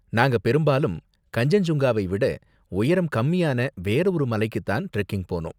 நாங்க பெரும்பாலும் கன்சென்ஜுங்காவை விட உயரம் கம்மியான வேற ஒரு மலைக்கு தான் ட்ரெக்கிங் போனோம்.